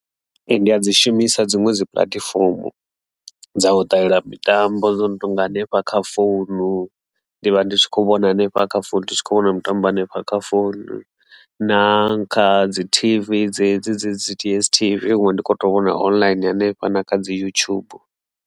Ee, ndi a dzi shumisa dziṅwe dzi puḽatifomo dza u ṱalela mitambo dzo no tonga hanefha kha founu, ndi vha ndi tshi kho vhona hanefha kha founu ndi tshi kho vhona mutambo hanefha kha phone na kha dzi T_V dzedzi dzi DSTV dziṅwe ndi kho to vhona online hanefha na kha dzi Yutshubu.